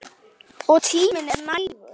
Og tíminn er nægur.